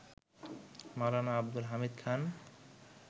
Maulana Abdul Hamid Khan